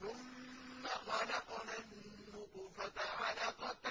ثُمَّ خَلَقْنَا النُّطْفَةَ عَلَقَةً